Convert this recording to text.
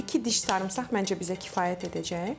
İki diş sarımsaq məncə bizə kifayət edəcək.